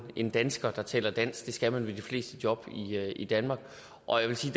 en dansker der taler dansk det skal man ved de fleste job i danmark og jeg vil sige